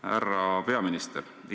Härra peaminister!